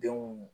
Denw